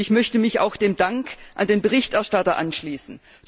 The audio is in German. Ich möchte mich auch dem Dank an den Berichterstatter anschließen.